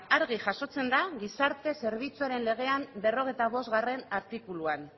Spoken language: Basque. argi jasotzen da gizarte zerbitzuaren legean berrogeita bostgarrena artikuluan